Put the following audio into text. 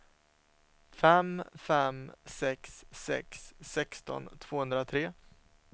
fem fem sex sex sexton tvåhundratre